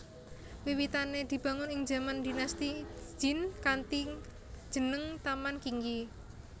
Wiwitane dibangun ing jaman Dinasti Jin kanthi jeneng Taman Qingyi